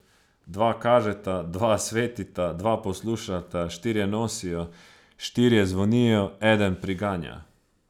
Dva kažeta, dva svetita, dva poslušata, štirje nosijo, štirje zvonijo, eden priganja.